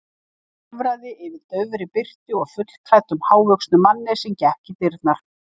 Hann hörfaði fyrir daufri birtu og fullklæddum, hávöxnum manni sem gekk í dyrnar.